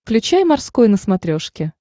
включай морской на смотрешке